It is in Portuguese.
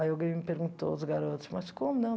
Aí alguém me perguntou, os garotos, mas como não?